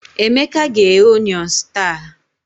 Emeka ga-eghe Onions taa